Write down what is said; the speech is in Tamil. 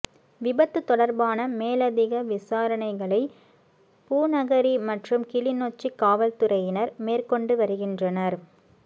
விபத்து தொடர்பான மேலதிக விசாரணைகளை பூநகரி மற்றும் கிளிநொச்சி காவல்துறையினர் மேற்கொண்டுவருகின்றனர்